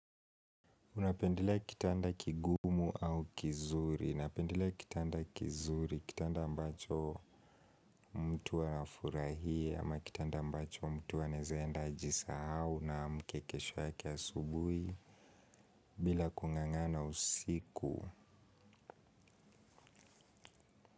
Unapendelea kitanda kigumu au kizuri. Napendelea kitanda kizuri kitanda ambacho mtu anafurahia ama kitanda ambacho mtu anaeza enda ajisahau na amke kesho yake asubui bila kung'ang'ana usiku.